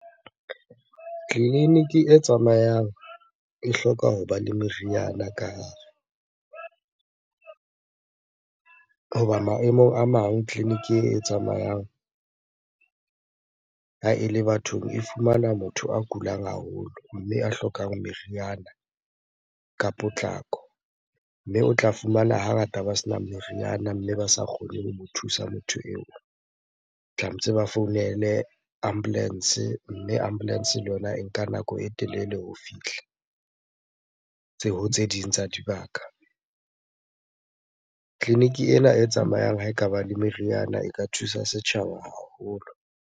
Tleliniki e tsamayang e hloka hoba le meriana ka hare. Hoba maemong a mang tleliniki e tsamayang ha ele bathong e fumana motho a kulang haholo, mme a hlokang meriana ka potlako. Mme o tla fumana hangata ba sena meriana, mme ba sa kgone ho mo thusa motho eo. Tlametse ba founele ambulance, mme ambulance le yona e nka nako e telele ho fihla ho tse ding tsa dibaka. Tleliniki ena e tsamayang ha ekaba le meriana e ka thusa setjhaba haholo.